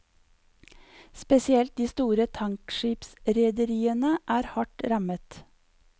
Spesielt de store tankskipsrederiene er hardt rammet.